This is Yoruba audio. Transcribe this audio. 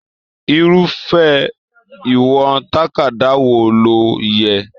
Irufẹ ìwọ̀n tàkádá wò ló yẹ?